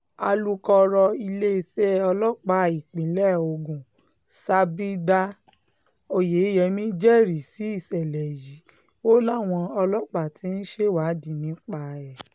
alūkọ̀rọ̀ iléeṣẹ́ ọlọ́pàá ìpínlẹ̀ ogun s abimodá oyeyèmí jẹ́rìí sí ìṣẹ̀lẹ̀ yìí o láwọn ọlọ́pàá ti ń ṣèwádìí nípa ẹ̀